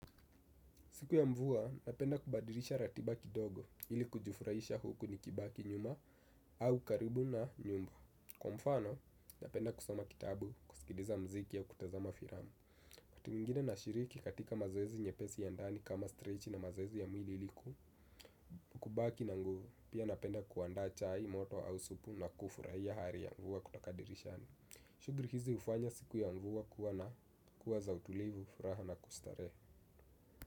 Siku ya mvua, napenda kubadilisha ratiba kidogo ili kujifurahisha huku nikibaki nyuma au karibu na nyumba. Kwa mfano, napenda kusoma kitabu, kusikiliza mziki au kutazama filamu. Wakati mwingine nashiriki katika mazoezi nyepesi ya ndani kama 'stretch' na mazoezi ya mwili ili kubaki na nguvu, pia napenda kuandaa chai moto au supu na kufurahia hali ya mvua kutoka dirishani. Shughuli hizi hufanya siku ya mvua kuwa na kuwa za utulivu, furaha na kustarehe.